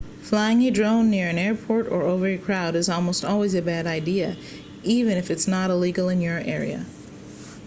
flying a drone near an airport or over a crowd is almost always a bad idea even if it's not illegal in your area